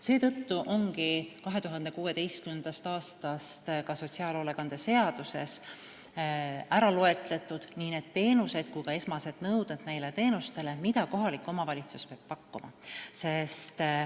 Seetõttu ongi 2016. aastast ka sotsiaalhoolekande seaduses ära loetletud nii teenused ise kui ka esmased nõuded neile teenustele, mida kohalik omavalitsus peab pakkuma.